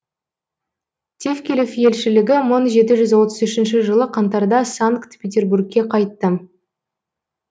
тевкелев елшілігі мың жеті жүз отыз үшінші жылы қаңтарда санкт петербургке қайтты